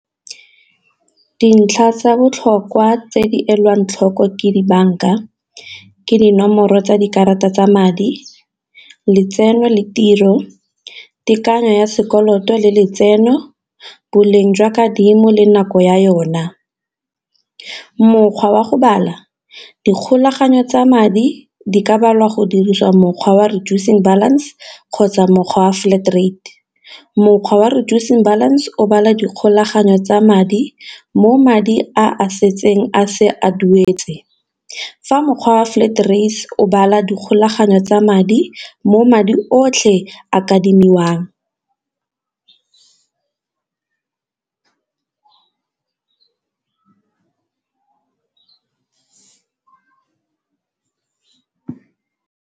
Dintlha tsa botlhokwa tse di e lwang tlhoko ke dibanka ke dinomoro tsa dikarata tsa madi, letseno le tiro, tekanyo ya sekoloto le letseno, boleng jwa kadimo le nako ya yona. Mokgwa wa go bala dikgolagano tsa madi di ka balwa go dirisiwa mokgwa wa reducing balance kgotsa mokgwa wa flat rate, mokgwa wa reducing balance o bala dikgolagano tsa madi mo madi a a setseng a se a duetse, fa mokgwa wa flat o bala dikgolagano tsa madi mo madi otlhe a adimiwang.